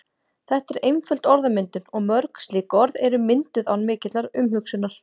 Þetta er einföld orðmyndun og mörg slík orð eru mynduð án mikillar umhugsunar.